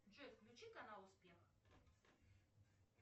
джой включи канал успех